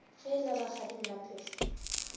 ge e le rakgadi maphefo